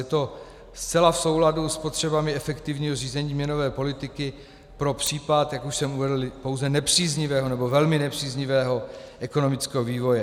Je to zcela v souladu s potřebami efektivního řízení měnové politiky pro případ, jak už jsem uvedl, pouze nepříznivého nebo velmi nepříznivého ekonomického vývoje.